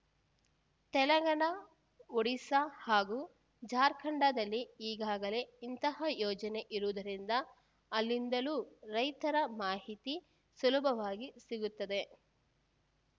ತೆಲಂಗಾಣ ಒಡಿಸ ಹಾಗೂ ಜಾರ್ಖಂಡದಲ್ಲಿ ಈಗಾಗಲೇ ಇಂತಹ ಯೋಜನೆ ಇರುವುದರಿಂದ ಅಲ್ಲಿಂದಲೂ ರೈತರ ಮಾಹಿತಿ ಸುಲಭವಾಗಿ ಸಿಗುತ್ತದೆ